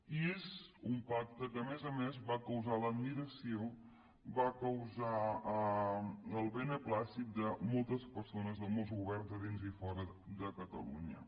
i és un pacte que a més a més va causar l’admiració va causar el beneplàcit de moltes persones de molts governs de dins i fora de catalunya